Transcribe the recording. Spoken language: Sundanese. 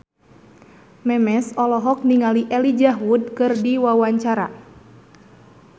Memes olohok ningali Elijah Wood keur diwawancara